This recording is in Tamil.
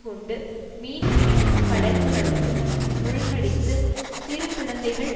கொண்டு மீன்பிடிக்கும் படகுகளையும் மூழ்கடித்து சிறுகுழந்தைகள்